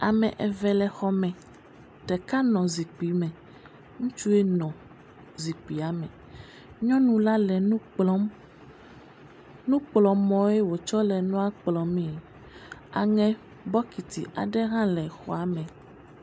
Ame eve le xɔ me ɖeka nɔ zikpui me, ŋutsue nɔ zikpuia me, nyɔnu la le nu kplɔm, nu kplɔmɔe wotsɔ le nua kplɔ mee.